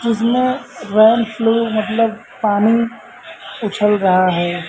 इसमें रेनफ्लो मतलब पानी उछल रहा है।